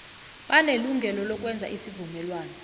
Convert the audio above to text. banelungelo lokwenza isivumelwano